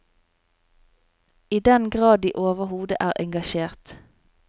I den grad de overhodet er engasjert.